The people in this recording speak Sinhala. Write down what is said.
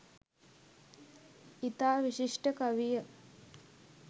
ඉතා විශිෂ්ට කවිය